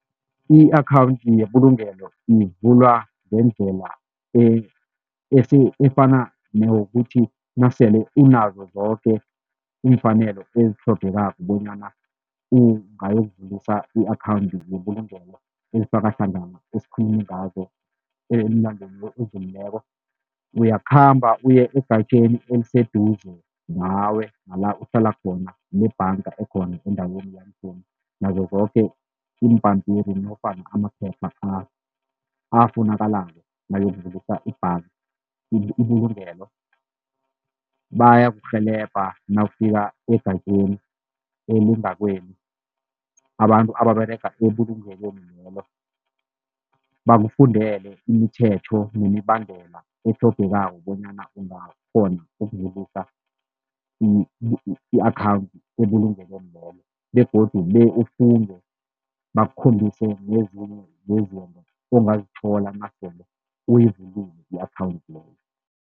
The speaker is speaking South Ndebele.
I-akhawundi yebulungelo ivulwa ngendlela efana neyokuthi nasele unazo zoke iimfanelo ezitlhogekako bonyana ungayokuvusa i-akhawundi yebulungelo ezifaka hlangana esikhulume ngazo elangeni elidlulileko. Uyakhamba uye egatjeni eliseduze nawe nala uhlala khona lebhanga ekhona endaweni nazo zoke iimbampiri nofana amaphepha afunakalako nawuyokuvulisa ibhanga ibulungelo. Bayakurhelebha nawufika egatjeni elingakwenu, abantu ababerega ebulungweni lelo bakufundele imithetho nemibandela etlhogekako bonyana ungakghona ukuvulisa i-akhawundi ebulungelweni lelo begodu be ufunde, bakukhombise nezinye zezinto ongazithola nasele uyivulile i-akhawundi leyo.